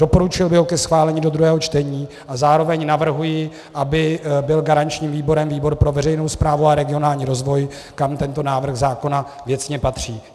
Doporučil bych ho ke schválení do druhého čtení a zároveň navrhuji, aby byl garančním výborem výbor pro veřejnou správu a regionální rozvoj, kam tento návrh zákona věcně patří.